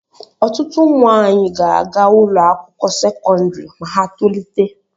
Ọtụtụ ụmụ anyị ga-aga ụlọ akwụkwọ sekọndrị ma ha tolite.